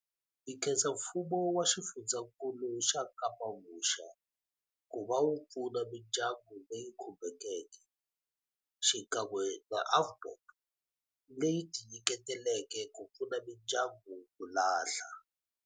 Hi khensa Mfumo wa Xifundzakulu xa Kapa-Vuxa ku va wu pfuna mindyangu leyi khumbekeke, xikan'we na AVBOB leyi tinyiketeleke ku pfuna mindyangu ku lahla.